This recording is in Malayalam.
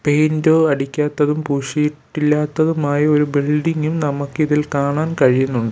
പെയിന്റോ അടിക്കാത്തതും പൂശിയിട്ടില്ലാത്തതുമായ ഒരു ബിൽഡിംഗും നമുക്കിതിൽ കാണാൻ കഴിയുന്നുണ്ട്.